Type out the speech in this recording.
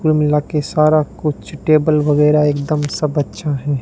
कुल मिला के सारा कुछ टेबल वगैरा एकदम सब अच्छा है।